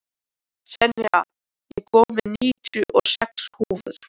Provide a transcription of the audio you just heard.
Senía, ég kom með níutíu og sex húfur!